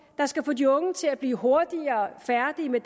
der skal få de unge til at blive hurtigere færdig med